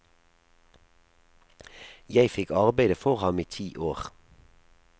Jeg fikk arbeide for ham i ti år.